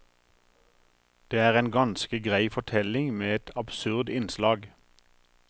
Det er en ganske grei fortelling med et absurd innslag.